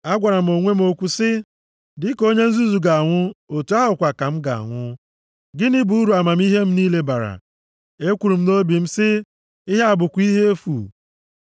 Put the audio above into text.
Agwara m onwe m okwu sị, “Dịka onye nzuzu ga-anwụ, otu ahụ kwa ka m ga-anwụ. Gịnị bụ uru amamihe m niile bara?” Ekwuru m nʼobi m sị, “Ihe a bụkwa ihe efu.